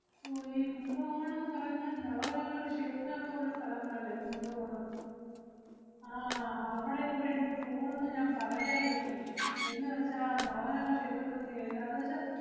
ഓ ഈ കുംഭകോണം ~ന്ന് പറയുന്നത് നവഗ്രഹങ്ങളുടെ ക്ഷേത്രം ഒക്കെ ഉള്ള സ്ഥലങ്ങളല്ലേ കുംഭകോണം? ആഹ് അവടെ കൂടെ എനിക്ക് പോണന്ന് ഞാ~ പറയാ~ ഇരുന്നു. എന്നുവെച്ചാ നവഗ്രഹ ക്ഷേത്രത്തിലൊന്ന് എന്താന്നുവച്ചാ,